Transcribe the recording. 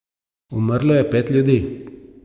Umrlo je pet ljudi.